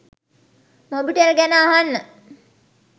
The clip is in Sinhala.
මොබිටෙල් ගැන අහන්න